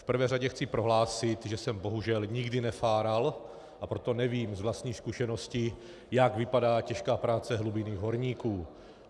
V prvé řadě chci prohlásit, že jsem bohužel nikdy nefáral, a proto nevím z vlastní zkušenosti, jak vypadá těžká práce hlubinných horníků.